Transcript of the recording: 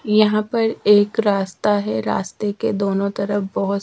यहां पर एक रास्ता है रास्ते के दोनों तरफ बहोत--